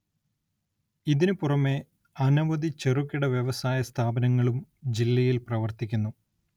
ഇതിനു പുറമേ അനവധി ചെറുകിട വ്യവസായ സ്ഥാപനങ്ങളും ജില്ലയില്‍ പ്രവര്‍ത്തിക്കുന്നു